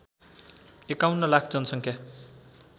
एकाउन्न लाख जनसङ्ख्या